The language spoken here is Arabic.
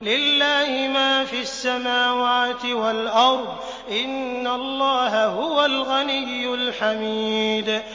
لِلَّهِ مَا فِي السَّمَاوَاتِ وَالْأَرْضِ ۚ إِنَّ اللَّهَ هُوَ الْغَنِيُّ الْحَمِيدُ